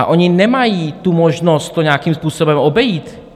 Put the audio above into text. A oni nemají tu možnost to nějakým způsobem obejít.